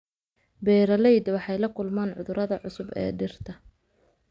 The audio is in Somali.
Beeralayda waxay la kulmaan cudurrada cusub ee dhirta.